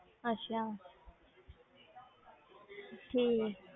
ਅੱਛਾ ਠੀਕ ਹੈ।